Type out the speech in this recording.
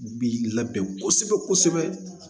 Bi labɛn kosɛbɛ kosɛbɛ